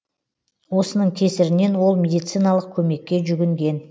осының кесірінен ол медициналық көмекке жүгінген